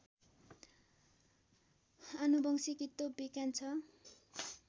आनुवंशिकी त्यो विज्ञान छ